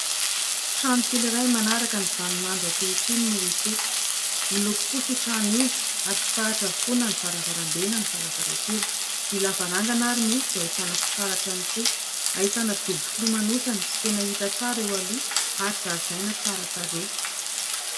Trano kely iray manaraka ny vaninandro ankehitriny no hita eto, miloko fotsy io trano io ary fitaratra avokoa na ny varavarambe na ny varavarankely , ny lavarangana ary moa dia ahitana fitaratra ihany koa. Ahitana dobo filomanosana tsy tena hita tsara eo aloha ary zaridaina tsara tarehy.